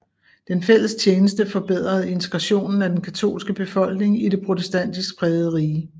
Den fælles tjeneste forbedrede integrationen af den katolske befolkning i det protestantisk prægede rige